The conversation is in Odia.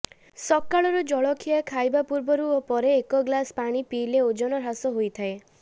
ସକାଳର ଜଳଖିଆ ଖାଇବା ପୂର୍ବରୁ ଓ ପରେ ଏକ ଗ୍ଲାସ୍ ପାଣି ପିଇଲେ ଓଜନ ହ୍ରାସ ହୋଇଥାଏ